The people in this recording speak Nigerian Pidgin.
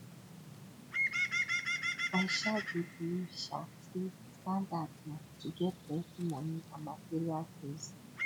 i um dey believe um say di standard na to get plenty money and material things